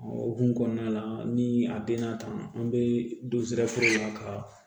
O hukumu kɔnɔna la ni a den na tan an bɛ don sira la ka